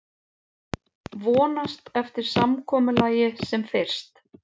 Vonast eftir samkomulagi sem fyrst